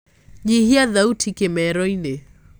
nyĩhĩa thaũtĩ kimero-ini